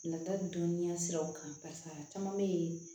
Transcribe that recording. Nata dɔnniya siraw kan barisa caman bɛ yen